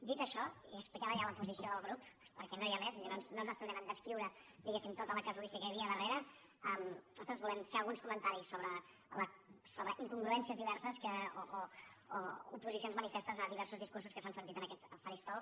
dit això i explicant ja la posició del grup perquè no n’hi ha més no ens estendrem a descriure diguem·ne tota la casuística que hi havia darrere nosaltres volem fer alguns comentaris sobre incongruències diverses o oposicions manifestes a diversos discursos que s’han sentit en aquest faristol